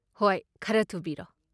ꯍꯣꯏ, ꯈꯔ ꯊꯨꯕꯤꯔꯣ?